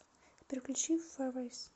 сбер включи песня сафари